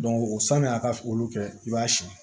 o sani a ka olu kɛ i b'a siyɛn